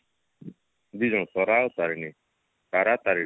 ଦି ଜଣ ତରା ଆଉ ତାରିଣୀ ତାରାତାରିଣୀ